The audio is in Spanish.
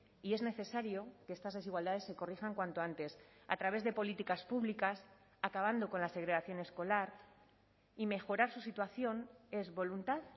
y es necesario que estas desigualdades se corrijan cuanto antes a través de políticas públicas acabando con la segregación escolar y mejorar su situación es voluntad